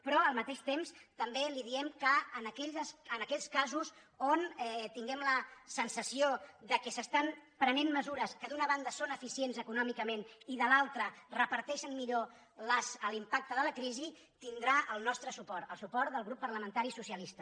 però al mateix temps també li diem que en aquells casos on tinguem la sensació que es prenen mesures que d’una banda són eficients econòmicament i de l’altra reparteixen millor l’impacte de la crisi tindrà el nostre suport el suport del grup parlamentari socialista